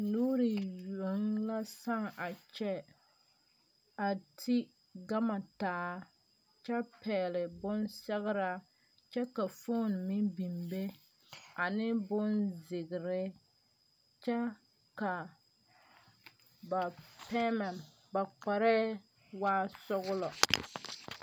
Nuuri yoŋ la saaŋ a kyɛ, a ti gama taa kyɛ pɛgeli . bonsɛgera kyɛ ka fone meŋ biŋ be ane bonzeɛre kyɛ ka ba kpare waa sɔglɔ.